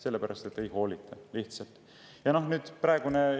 Sellepärast, et lihtsalt ei hoolita.